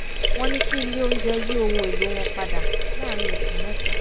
wọ́n ní kí ilé oúnjẹ yí ohun èlò wọn padà láàárín oṣù mẹ́ta